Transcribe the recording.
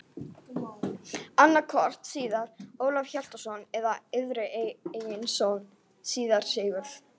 Annaðhvort síra Ólaf Hjaltason eða yðar eigin son, síra Sigurð.